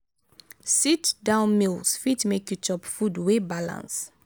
sit down meals fit make you chop food wey balance